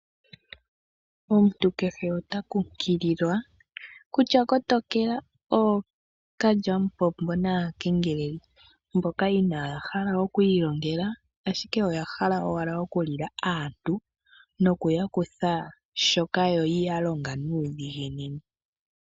Omuntu kehe ota kunkililwa kutya kotokela ookalyampombo naakengeleli mboka inaya hala okwiilongela, ashike oyahala owala okulila aantu nokuyakutha shoka yalonga nuudhiginini.